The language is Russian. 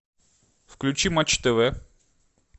включи матч тв